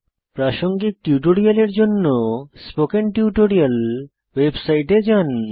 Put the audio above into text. প্রাসঙ্গিক টিউটোরিয়ালের জন্য স্পোকেন টিউটোরিয়াল ওয়েবসাইটে যান